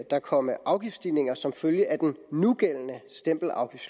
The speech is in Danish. der komme afgiftsstigninger som følge af den nugældende stempelafgift